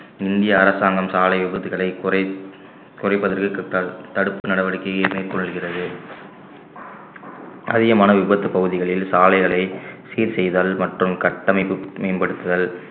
இந்திய அரசாங்கம் சாலை விபத்துகளை குறை~ குறைப்பதற்கு தடு~ தடுப்பு நடவடிக்கையை மேற்கொள்கிறது அதிகமான விபத்து பகுதிகளில் சாலைகளை சீர் செய்தல் மற்றும் கட்டமைப்பு மேம்படுத்துதல்